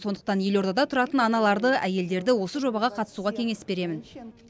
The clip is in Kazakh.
сондықтан елордада тұратын аналарды әйелдерді осы жобаға қатысуға кеңес беремін